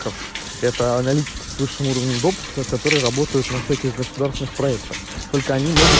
ков это аналитики с высшим уровнем допуска которые работают на всяких государственных проектах только они могут